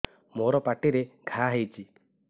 ମୋର ପାଟିରେ ଘା ହେଇଚି